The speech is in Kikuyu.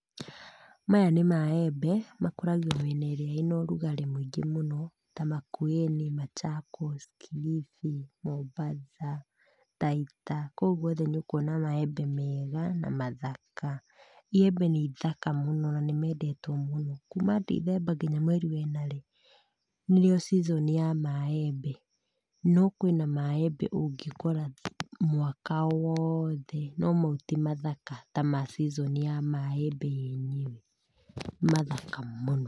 Maya nĩ maembe, makũragio mĩena ĩrĩa ĩna ũrugarĩ mũingĩ mũno ta Makueni, Machakos, Kilifi, Mombatha, Taita, kũu gũothe nĩ ũkuona maembe mega na mathaka. Iembe nĩ ithaka mũno na nĩmendetwo mũno kuma ndithemba nginya mweri wena rĩ, nĩrĩo season ya maembe, no kwĩna maembe ũngĩkora mwaka woothe no mau ti mathaka ta ma season ya maembe yenyewe, nĩ mathaka mũno.